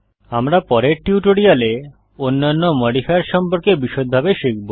আমরা পরের টিউটোরিয়ালে অন্যান্য মডিফায়ার সম্পর্কে বিষদভাবে শিখব